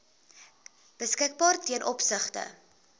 beskikbaar ten opsigte